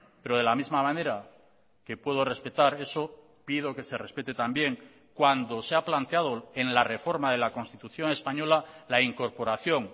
pero de la misma manera que puedo respetar eso pido que se respete también cuando se ha planteado en la reforma de la constitución española la incorporación